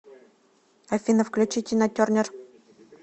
афина включи тина тернер